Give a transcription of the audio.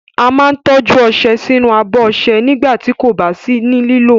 A máa ń tọ́jú ọṣẹ sínú abọ́ ọṣẹ nígbà tí kò bá sí ní lílò.